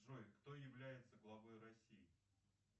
джой кто является главой россии